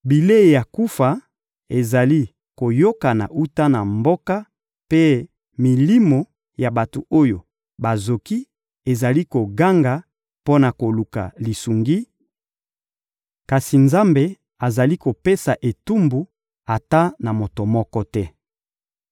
Bileli ya kufa ezali koyokana wuta na mboka, mpe milimo ya bato oyo bazoki ezali koganga mpo na koluka lisungi, kasi Nzambe azali kopesa etumbu ata na moto moko te.